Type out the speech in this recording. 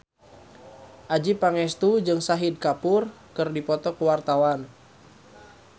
Adjie Pangestu jeung Shahid Kapoor keur dipoto ku wartawan